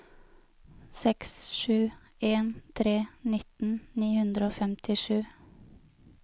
seks sju en tre nitten ni hundre og femtisju